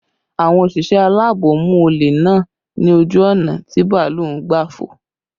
Àwọn òṣìṣẹ́ alaabo mú olè náà ni ojú ọ̀nà tí bàálù ń gbà fò